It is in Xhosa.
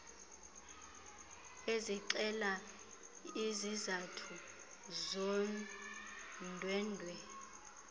ezixela izizathu zondwendwe